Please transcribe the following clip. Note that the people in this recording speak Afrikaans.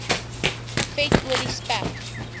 vet olie spek